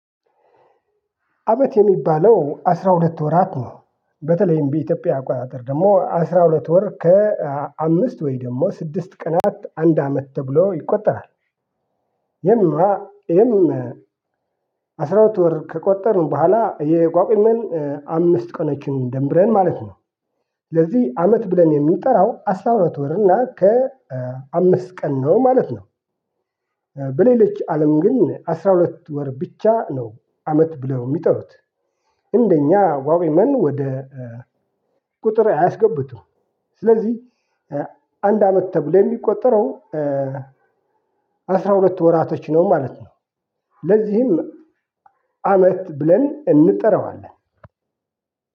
አመት የሚባለው አስራ ሁለት ወራት ነው። በተለይም በኢትዮጵያ አቋራጥር ደግሞ አስራ ሁለት ወር ከአምስት ወይ ደግሞ ስድስት ቀናት አንድ አመት ተብሎ ይቆጠራል። የም የም አስራ ሁለት ወር ከቆጠርን በኋላ የቋግሜን አምስት ቀኖችን ደምረን ማለት ማለት ነው። ለዚህ አመት ብለን የሚጠራው አስራ አራት ወር እና ከ አምስት ቀን ነው ማለት ነው። በሌለች አለም ግን አስራ ሁለት ወር ብቻ ነው። አመት ብለው የሚጠሩት እንደኛ ጎቁሜን ወደ ቁጥር አያስገቡትም። ስለዚህ አንድ አመት ተብሎ የሚቆጠረው አስራ ሁለት ወራቶች ነው ማለት ነው። ለዚህም አመት ብለን እንጠራዋለን።